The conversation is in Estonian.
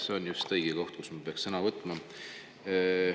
See on just õige koht, kus ma peaks sõna võtma.